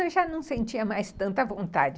Eu já não sentia mais tanta vontade.